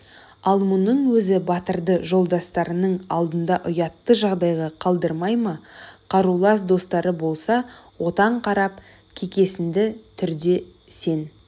ал мұның өзі батырды жолдастарының алдында ұятты жағдайға қалдырмай ма қарулас достары болса отан қарап кекесінді түрде сен